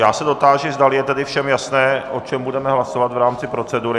Já se dotáži, zdali je tedy všem jasné, o čem budeme hlasovat v rámci procedury.